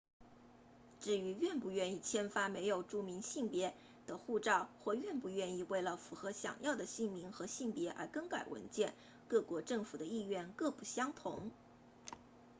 至于愿不愿意签发没有注明性别 x 的护照或愿不愿为了符合想要的姓名和性别而更改文件各国政府的意愿各不相同